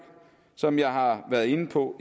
som jeg har været inde på